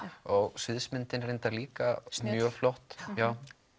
og sviðsmyndin líka mjög flott hjá